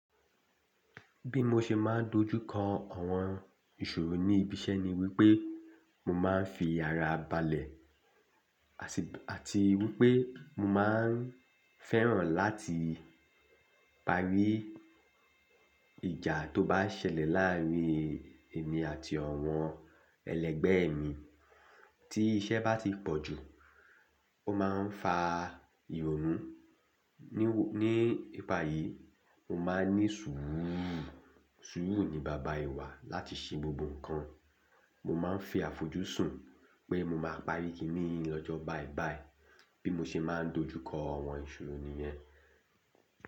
Bí mo ṣe máa ń dojú kọ àwọn ìṣòro ní ibi iṣẹ́ ni wípé mo máa ń fi ara balẹ̀ àti wípé mo máa ń fẹ́ràn láti parí ìjà tó bá ṣẹlẹ̀ láàárín èmi àti àwọn ẹlẹgbẹ́ mi. Tí iṣẹ́ bá ti pọ̀ jù, ó máa ń fa ìrònú. Ní ìparí, mo máa ń ní sùúrù. Sùúrù ni baba ìwà láti ṣe gbogbo nǹkan. Mo máa ń fi àfojúsùn pé mo máa parí kí ni í lọ́jọ́ báìbàì bí mo ṣe máa ń dojú kọ àwọn ìṣòro nìyẹn.